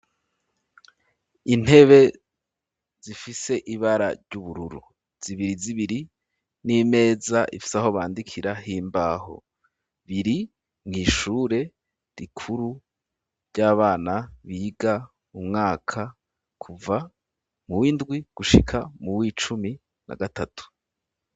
Intebe zifise ibara ry'ubururu zibiri zibiri n'imeza ifise aho bandikira himbaho biri mu ishure rikuru ry'abana biga umwaka kuva mu w'indwi gushika mu w'icumi na gatatu